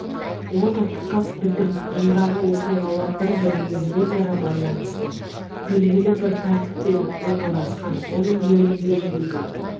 ол да тұтас бітім ондағы оқиғалар бір-бірімен өзара байланысты беліглі бір тәртіппен орналасқан оның бөлімдерінде де